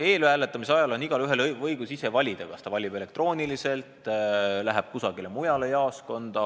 Eelhääletamise ajal on igaühel õigus ise otsustada, kas ta valib elektrooniliselt, läheb mõnda muusse jaoskonda.